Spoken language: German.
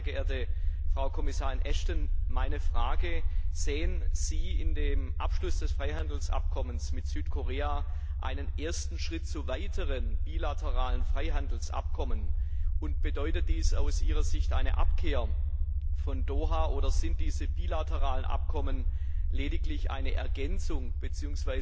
Deshalb, sehr geehrte Frau Kommissarin Ashton, meine Frage Sehen Sie im Abschluss des Freihandelsabkommens mit Südkorea einen ersten Schritt zu weiteren bilateralen Freihandelsabkommen, und bedeutet dies aus Ihrer Sicht eine Abkehr von Doha? Oder sind diese bilateralen Abkommen lediglich eine Ergänzung bzw.